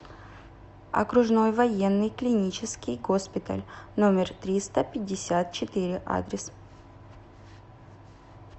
окружной военный клинический госпиталь номер триста пятьдесят четыре адрес